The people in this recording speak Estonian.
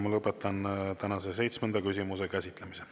Ma lõpetan tänase seitsmenda küsimuse käsitlemise.